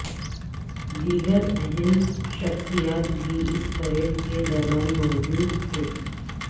دیگر اہم شخصیات بھی اس پریڈ کے دوران موجو دتھے